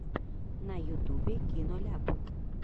на ютубе киноляп